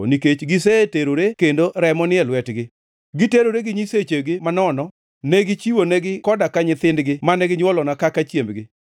nikech giseterore kendo remo ni e lwetgi. Negiterore gi nyisechegi manono; ne gichiwonegi koda ka nyithindgi mane ginywolona, kaka chiembgi.